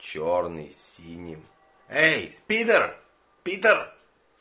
чёрный с синим эй пидор пидор